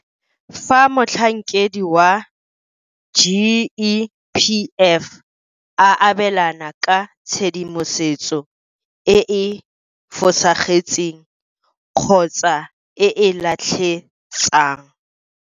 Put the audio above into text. Fa motlhankedi wa GEPF a abelana ka tshedimosetso e e fosagetseng kgotsa e e latlhetsang.